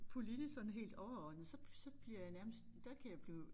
Politisk sådan helt overordnet så så bliver jeg nærmest der kan jeg blive